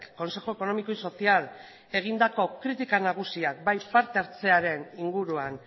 consejo económico y social egindako kritika nagusiak bai parte hartzearen inguruan